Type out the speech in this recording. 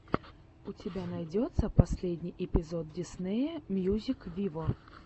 у тебя найдется последний эпизод диснея мьюзик виво